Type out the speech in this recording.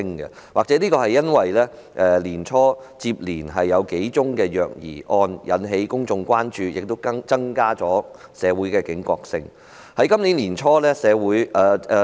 這或許是因為年初接連發生的數宗虐兒個案引起公眾關注，致使社會的警覺性提高。